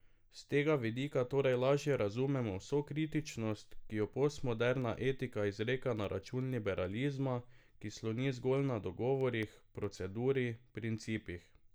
S tega vidika torej lažje razumemo vso kritičnost, ki jo postmoderna etika izreka na račun liberalizma, ki sloni zgolj na dogovorih, proceduri, principih.